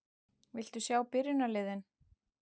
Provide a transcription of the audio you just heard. Viltu sjá byrjunarliðin?